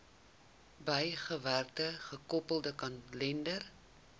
bygewerkte gekoppelde kalender